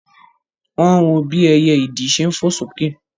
Wọ́n wọ bí ẹyẹ ìdì ṣe fò sókè